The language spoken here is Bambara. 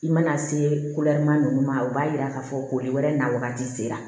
I mana se ma ninnu ma o b'a jira k'a fɔ ko wɛrɛ n'a wagati sera